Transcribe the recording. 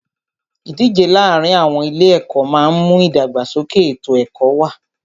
Ìdíje láàárin àwọn ilé ẹ̀kọ́ máà ń mú ìdàgbàsókè ètò ẹ̀kọ́ wá.